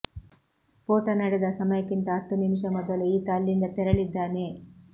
ಸ್ಫೋಟ ನಡೆದ ಸಮಯಕ್ಕಿಂತ ಹತ್ತು ನಿಮಿಷ ಮೊದಲು ಈತ ಅಲ್ಲಿಂದ ತೆರಳಿದ್ದಾನೆ